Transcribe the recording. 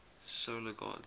solar gods